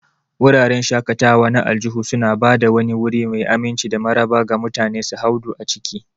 Wuraren shaƙatawa na aljihu suna ba da wani wuri mai aminci da maraba ga mutane su hadu a ciki.